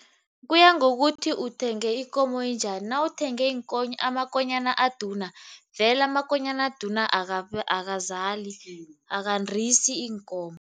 Kuya ngokuthi uthenge ikomo enjani. Nawuthenga amakonyana abaduna vele amakonyana eduna akazali, akandisi iinkomo.